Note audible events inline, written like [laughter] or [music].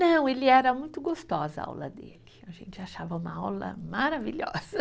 Não, ele era muito gostosa a aula dele, a gente achava uma aula maravilhosa. [laughs]